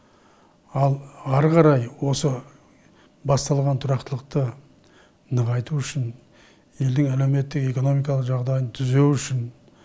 ал ары қарай осы басталған тұрақтылықты нығайту үшін елдің әлеуметтік экономикалық жағдайын түзеу үшін